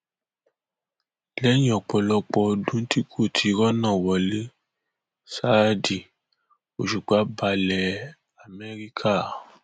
lẹyìn ọpọlọpọ ọdún tí kò ti rọnà wọlé ṣádì ọṣùpá balẹ amẹríkà